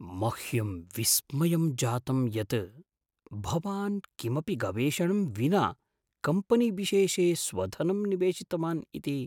मह्यं विस्मयं जातम् यत् भवान् किमपि गवेषणं विना कम्पनीविशेषे स्वधनं निवेशितवान् इति।